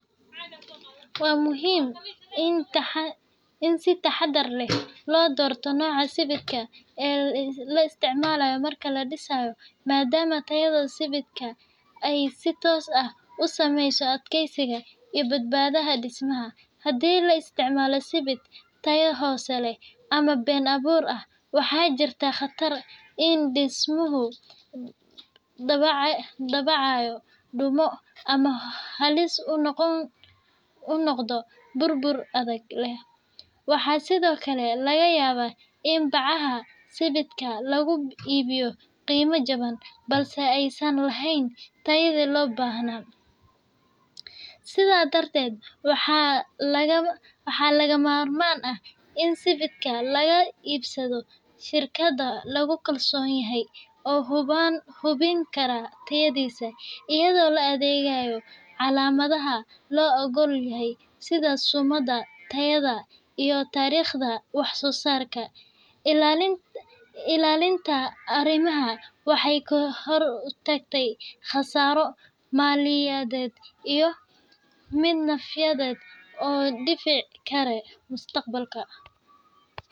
Waa muhiim in si taxaddar leh loo doorto nooca sibidhka ee la isticmaalayo marka la dhisayo, maadaama tayada sibidhka ay si toos ah u saameyso adkeysiga iyo badbaadada dhismaha. Haddii la isticmaalo sibidh tayo hoose leh ama been-abuur ah, waxaa jirta khatar ah in dhismuhu dabcayo, dumo, ama halis u noqdo burbur degdeg ah. Waxaa sidoo kale laga yaabaa in bacaha sibidhka lagu iibiyo qiimo jaban balse aysan laheyn tayadii loo baahnaa. Sidaa darteed, waxaa lagama maarmaan ah in sibidhka laga iibsado shirkado lagu kalsoon yahay oo hubin kara tayadiisa, iyadoo la eegayo calaamadaha la oggol yahay sida sumadda tayada iyo taariikhda wax-soo-saarka. Ilaalinta arrimahan waxay ka hortagtaa khasaaro maaliyadeed iyo mid nafyeed oo dhici kara mustaqbalka.